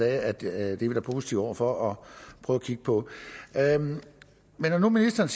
at det er vi da positive over for at prøve at kigge på men nu ministeren